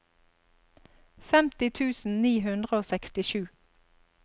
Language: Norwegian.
femti tusen ni hundre og sekstisju